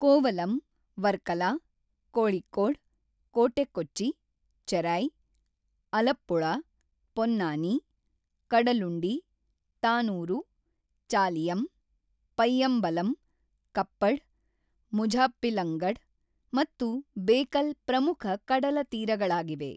ಕೋವಲಂ, ವರ್ಕಲಾ, ಕೋಳಿಕ್ಕೋಡ್, ಕೋಟೆ ಕೊಚ್ಚಿ, ಚೆರೈ, ಅಲಪ್ಪುಳ, ಪೊನ್ನಾನಿ, ಕಡಲುಂಡಿ, ತಾನೂರು, ಚಾಲಿಯಮ್, ಪಯ್ಯಂಬಲಂ, ಕಪ್ಪಡ್, ಮುಝಾಪ್ಪಿಲಂಗಡ್ ಮತ್ತು ಬೇಕಲ್ ಪ್ರಮುಖ ಕಡಲತೀರಗಳಾಗಿವೆ.